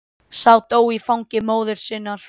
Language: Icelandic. Sá dó í fangi móður sinnar.